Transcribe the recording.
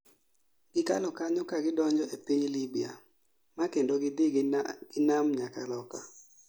Gikalo kanyo ka gidonjo e piny Libya ma kendo gidhi gi nam nyaka loka